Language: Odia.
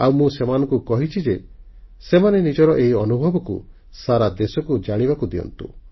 ଆଉ ମୁଁ ସେମାନଙ୍କୁ କହିଛି ଯେ ସେମାନେ ନିଜର ଏହି ଅନୁଭବକୁ ସାରା ଦେଶକୁ ଜାଣିବାକୁ ଦିଅନ୍ତୁ